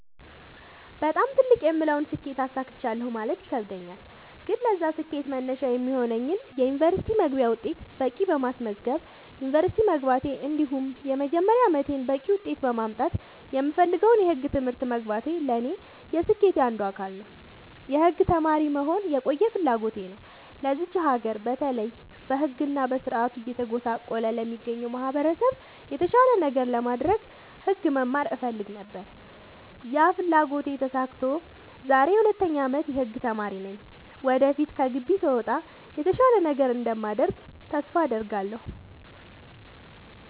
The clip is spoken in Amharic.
በጣም ትልቅ የምለውን ስኬት አሳክቻለሁ ማለት ይከብደኛል። ግን ለዛ ስኬት መነሻ የሚሆነኝን የ ዩኒቨርስቲ መግቢያ ውጤት በቂ በማስመዝገብ ዩንቨርስቲ መግባቴ እንዲሁም የመጀመሪያ አመቴን በቂ ውጤት በማምጣት የምፈልገውን የህግ ትምህርት መግባቴ ለኔ የስኬቴ አንዱ አካል ነው። የህግ ተማሪ መሆን የቆየ ፍላጎቴ ነው ለዚች ሀገር በተለይ በህግ እና በስርዓቱ እየተጎሳቆለ ለሚገኘው ማህበረሰብ የተሻለ ነገር ለማድረግ ህግ መማር እፈልግ ነበር ያ ፍላጎቴ ተሳክቶ ዛሬ የ 2ኛ አመት የህግ ተማሪ ነኝ ወደፊት ከግቢ ስወጣ የተሻለ ነገር እንደማደርግ ተስፋ አድርጋለሁ።